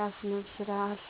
ያስነዝራል።